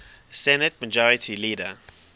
senate majority leader